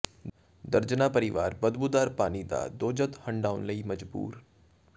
ਦਰਜਨਾਂ ਪਰਿਵਾਰ ਬਦਬੂਦਾਰ ਪਾਣੀ ਦਾ ਦੋਜ਼ਖ਼ ਹੰਢਾਉਣ ਲਈ ਮਜਬੂਰ